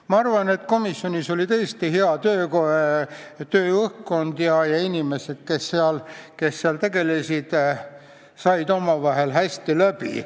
Ma arvan, et komisjonis oli tõesti hea tööõhkkond ja inimesed, kes seal töötasid, said omavahel hästi läbi.